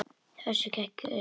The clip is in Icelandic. Össur gekk örlítið lengra.